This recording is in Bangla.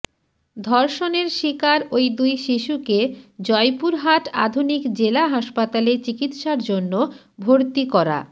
ধর্ষণের শিকার ওই দুই শিশুকে জয়পুরহাট আধুনিক জেলা হাসপাতালে চিকিৎসার জন্য ভর্তি করা